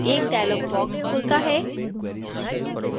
एक dialog box खुलता है